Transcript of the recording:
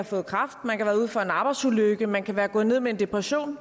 fået kræft man kan have været ude for en arbejdsulykke man kan være gået ned med en depression